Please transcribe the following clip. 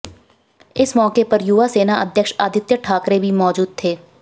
इस मौके पर युवा सेना अध्यक्ष आदित्य ठाकरे भी मौजूद थे